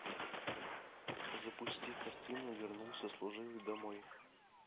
запусти картину вернулся служивый домой